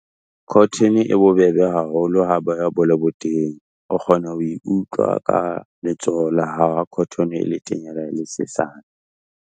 Cotton-e e bobebe haholo ha boya bo le botenya, o kgona ho e utlwa ka letsoho la hao ha cotton-e e le tenya le ha e le sesane.